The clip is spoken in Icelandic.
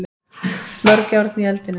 Mörg járn í eldinum